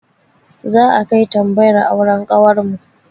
Za'a kai tambayar auren kawarmu.